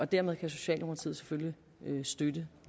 dermed kan socialdemokratiet selvfølgelig støtte